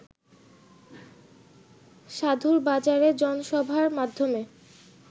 সাধুর বাজারে জনসভার মাধ্যমে